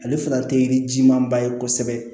Ale fana tɛ yiri jimanba ye kosɛbɛ